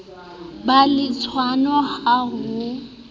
be le tshwano ha ho